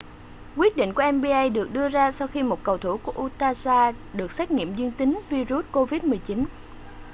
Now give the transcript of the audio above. quyết định của nba được đưa ra sau khi một cầu thủ của utah jazz được xét nghiệm dương tính vi-rút covid-19